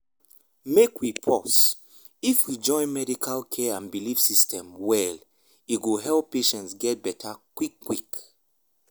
make we pause — if we join medical care and belief systems well e go help patients get better quick quick.